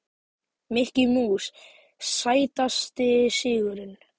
Mikki Mús Sætasti sigurinn?